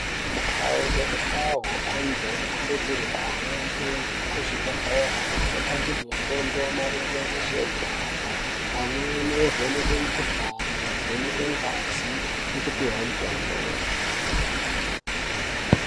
Mukawu ngemukawu antu anokurudzirwe kuhambe kuzvibhedhlera, anopangidzwe fundo maringe ngezvehutano. Amweni ovhenekwe mikuhlani, kuvhenekwe ngazi ngekupihwa mitombo.